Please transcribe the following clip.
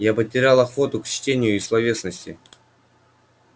я потерял охоту к чтению и словесности